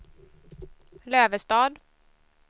Lövestad